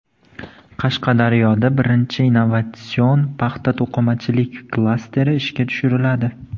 Qashqadaryoda birinchi innovatsion paxta-to‘qimachilik klasteri ishga tushiriladi.